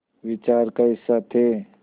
विचार का हिस्सा थे